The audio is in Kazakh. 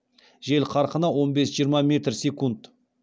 жел қарқыны он бес жиырма метр секунд